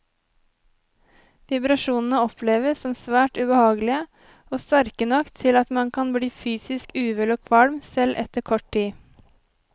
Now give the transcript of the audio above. Vibrasjonene oppleves som svært ubehagelige, og sterke nok til at man kan bli fysisk uvel og kvalm, selv etter kort tid.